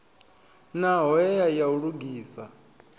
na hoea ya u lugisa